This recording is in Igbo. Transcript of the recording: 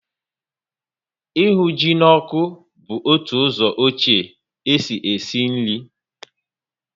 Ịhụ ji na ọkụ bu otu ụzọ ọchie e si esi nri